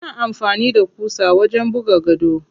Ana amfani da ƙusa wajen buga gado.